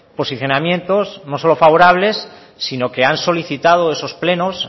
posicionamientos no solo favorables sino que han solicitado esos plenos